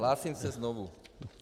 Hlásím se znovu.